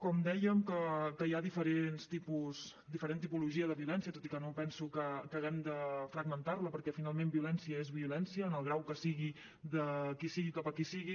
com dèiem hi ha diferent tipologia de violència tot i que no penso que haguem de fragmentar la perquè finalment violència és violència en el grau que sigui de qui sigui i cap a qui sigui